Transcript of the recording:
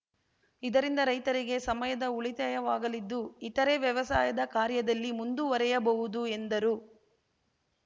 ಇದರಿಂದ ರೈತರಿಗೆ ಸಮಯದ ಉಳಿತಾಯವಾಗಲಿದ್ದು ಇತರೆ ವ್ಯವಸಾಯದ ಕಾರ್ಯದಲ್ಲಿ ಮುಂದುವರೆಯಬಹುದು ಎಂದರು